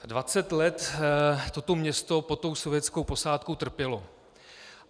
Dvacet let toto město pod tou sovětskou posádkou trpělo.